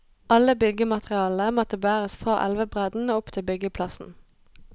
Alle byggematerialene måtte bæres fra elvebredden og opp til byggeplassen.